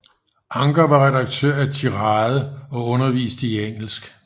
Anker var redaktør af Tirade og underviste i engelsk